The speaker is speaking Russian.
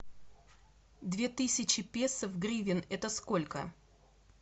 две тысячи песо в гривен это сколько